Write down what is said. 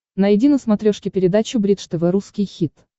найди на смотрешке передачу бридж тв русский хит